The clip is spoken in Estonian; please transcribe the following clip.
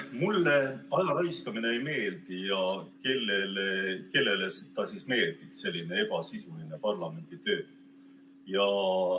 Mulle aja raiskamine ei meeldi ja kellele ikka meeldiks selline ebasisuline parlamenditöö.